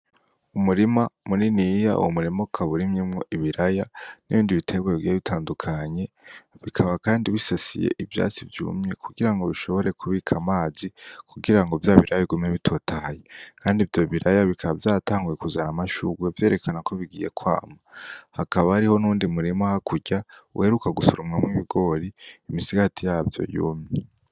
Umurima muniniya uwu murimo kaburimyimwo ibiraya n'ibindi biterwa bigira bitandukanye bikaba, kandi bisasiye ivyatsi vyumye kugira ngo bishobore kubika amazi kugira ngo vya biraya bigume bitotaye, kandi vyo biraya bikaba vyatanguwe kuzana amashuguwe vyerekana ko bigiye kwama hakaba ariho ni undi murima hakuwe gya uwereuka gusurumwamw ibigori imisigati yavyo y'umi.